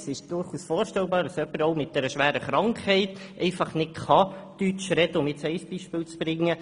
Es ist durchaus vorstellbar, dass jemand mit einer schweren Krankheit nicht Deutsch sprechen kann, um ein Beispiel zu bringen.